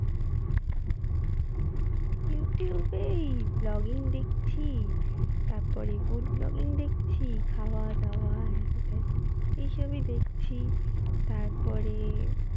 youtube এ এই vlogging দেখছি তারপরে food vlogging দেখছি, খাওয়া দাওয়া হ্যান ত্যান এই সবই দেখছি তারপরে,